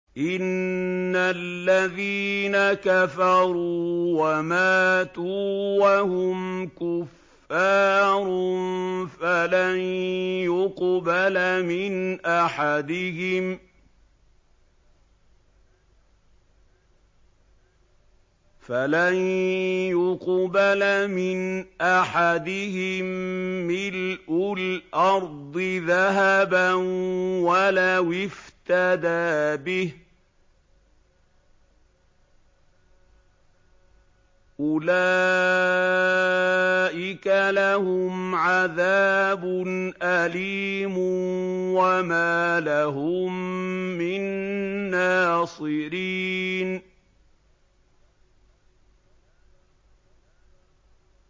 إِنَّ الَّذِينَ كَفَرُوا وَمَاتُوا وَهُمْ كُفَّارٌ فَلَن يُقْبَلَ مِنْ أَحَدِهِم مِّلْءُ الْأَرْضِ ذَهَبًا وَلَوِ افْتَدَىٰ بِهِ ۗ أُولَٰئِكَ لَهُمْ عَذَابٌ أَلِيمٌ وَمَا لَهُم مِّن نَّاصِرِينَ